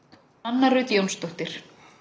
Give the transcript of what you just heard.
Nanna Rut Jónsdóttir